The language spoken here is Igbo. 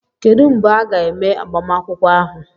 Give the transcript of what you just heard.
Kedu mgbe a ga-eme agbamakwụkwọ ahụ?